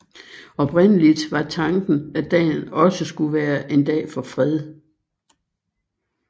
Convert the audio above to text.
Oprindeligt var tanken at dagen også skulle være en dag for fred